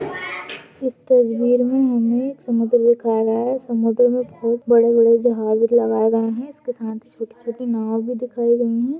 इस तस्वीर मे हमे समुद्र दिखाया गया है समुद्र मे बहुत बड़े बड़े जहाज लगाए गए है इसके साथ छोटी छोटी नाव भी दिखाई गई है।